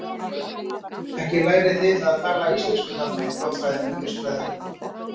Ekki lærið þið að tala íslensku þarna í þjóðfræðinni og listfræðinni.